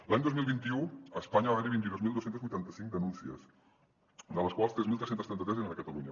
l’any dos mil vint u a espanya va haver hi vint dos mil dos cents i vuitanta cinc denúncies de les quals tres mil tres cents i trenta tres eren a catalunya